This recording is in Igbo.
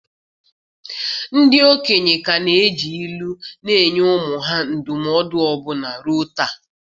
Ndị okenye ka na-eji ilu na-enye ụmụ ha ndụmọdụ ọbụna ruo taa.